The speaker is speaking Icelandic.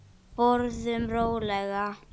Borðum rólega.